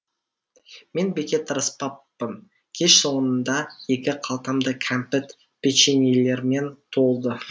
мен бекер тырыспаппын кеш соңында екі қалтам да кәмпит печеньелермен толды